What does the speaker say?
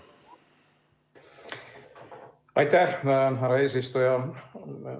Aitäh, härra eesistuja!